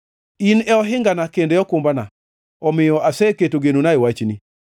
In e ohingana kendo okumbana; omiyo aseketo genona e wachni.